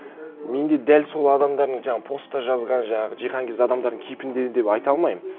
мен де дәл сол адамдардың жаңағы постта жазған жаңағы жиһанкез адамдардың кейпінде деп айта алмаймын